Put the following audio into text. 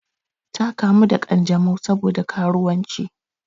Ta kamu da ƙanjamau sabo da karuwanci.